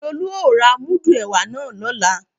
Lolú ó ra múdù ẹ̀wà náà lọ́la